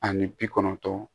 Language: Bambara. Ani bi kɔnɔntɔn